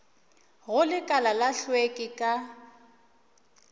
go lekala la hlweki ka